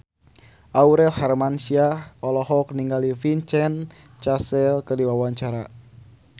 Aurel Hermansyah olohok ningali Vincent Cassel keur diwawancara